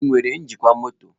Ị nwere njikwa mọtọ?